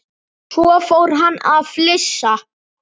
Svo fór hann að flissa.